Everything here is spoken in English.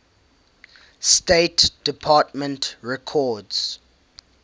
state department records